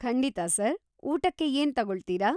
ಖಂಡಿತ ಸರ್‌. ಊಟಕ್ಕೆ ಏನ್‌ ತಗೊಳ್ತೀರಾ?